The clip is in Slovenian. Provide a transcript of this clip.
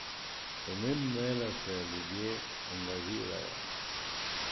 Pomembno je, da se ljudje angažirajo.